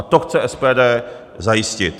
A to chce SPD zajistit.